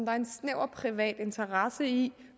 er en snæver privat interesse i